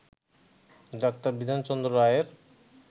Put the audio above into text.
ডাঃ বিধানচন্দ্র রায়ের